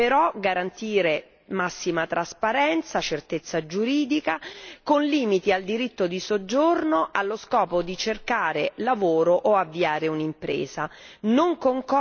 Al contempo, però, è necessario garantire massima trasparenza e certezza giuridica con limiti al diritto di soggiorno allo scopo di cercare lavoro o avviare un'impresa.